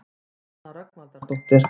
Nanna Rögnvaldardóttir.